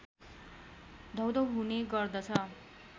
धौधौ हुने गर्दछ